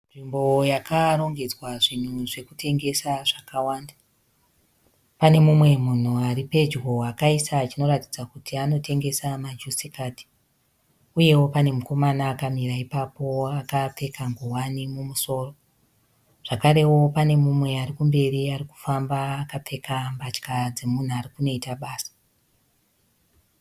Nzvimbo yakarongedzwa zvinhu zvekutengesa zvakawanda. Pane mumwe munhu ari pedyo akaisa chinoratidza kuti anotengesa majusikadhi. Uyewo pane mukomana akamira ipapo akapfeka nguwani mumusoro, zvekarewo pane mumwe arikumberi arikufamba akapfeka mbatya dzemunhu arikunoita basa.